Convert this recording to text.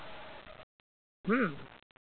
হম